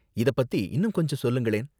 இத பத்தி இன்னும் கொஞ்சம் சொல்லுங்களேன்.